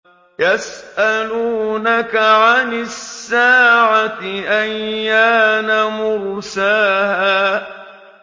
يَسْأَلُونَكَ عَنِ السَّاعَةِ أَيَّانَ مُرْسَاهَا